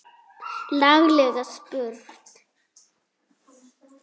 Laglega spurt!